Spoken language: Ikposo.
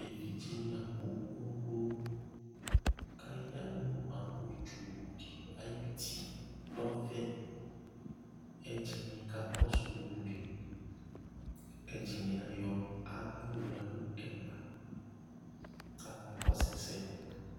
evidze ni abò kunu kunu k'aya no maŋgɔ tsu di ayi uti n'ɔvɛ ɛdini ka kɔsu ulu li ɛdini ayɔ ala yɔ ya no ɛgba k'aka kɔsu ɛsɛ